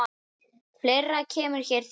Fleira kemur hér til.